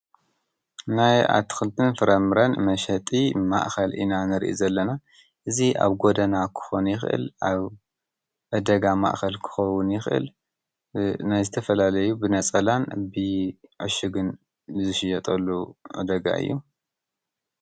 ናይ ኣትኽልትን ፍረምረን መሸጢ ማእኸል ኢና ንሪኢ ዘለና እዚ ኣብ ጎደና ክኾን ይኽእል ኣብ ዕዳጋ ማእኸል ክኾውን ይኽእል፡፡ ናይ ዝተፈላለዩ ብነፀላን ብዕሽግን ዝሽየጠሉ ዕዳጋ እዩ፡፡